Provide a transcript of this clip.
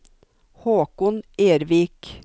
Håkon Ervik